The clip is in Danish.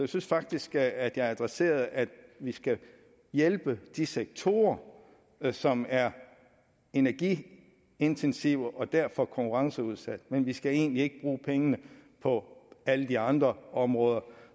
synes faktisk at jeg adresserede at vi skal hjælpe de sektorer som er energiintensive og derfor konkurrenceudsatte men vi skal egentlig ikke bruge pengene på alle de andre områder